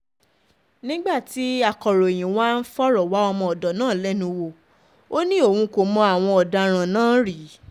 nígbà tí akọ̀ròyìn wa ń fọ̀rọ̀ wá ọmọọ̀dọ̀ náà lẹ́nu wò ó ní òun kò mọ àwọn ọ̀daràn náà rí